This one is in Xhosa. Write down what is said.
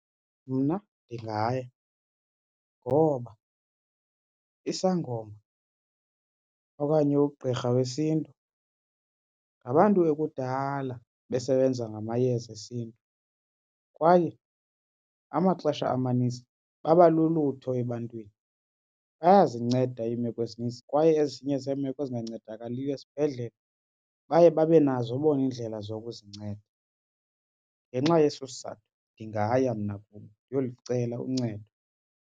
Mna ndingaya ngoba isangoma okanye ugqirha wesiNtu ngabantu ekudala besebenza ngamayeza esiNtu kwaye amaxesha amanintsi baba lulutho ebantwini. Bayazinceda imeko ezinintsi kwaye ezinye zeemeko ezingancedakaliyo esibhedlele baye babe nazo bona iindlela zokuzinceda. Ngenxa yeso sizathu ndingaya mna kubo ndiyolicela uncedo.